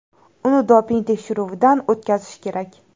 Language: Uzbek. Uni doping tekshiruvidan o‘tkazish kerak.